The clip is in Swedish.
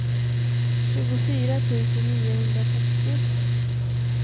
tjugofyra tusen niohundrasextio